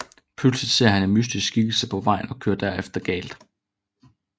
Pludselig ser han en mystisk skikkelse på vejen og kører derefter galt